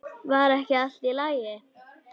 Var ekki allt í lagi?